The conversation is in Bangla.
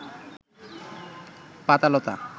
পাতা-লতা